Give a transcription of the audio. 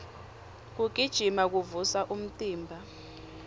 kugijima kuvusa umtimba